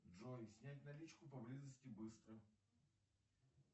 джой снять наличку поблизости быстро